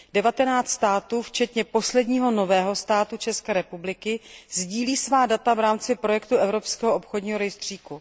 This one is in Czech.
Devatenáct států, včetně posledního nového státu, České republiky, sdílí svá data v rámci projektu evropského obchodního rejstříku.